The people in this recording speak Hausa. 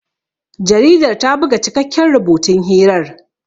Jaridar ta buga cikakken rubutun hirar.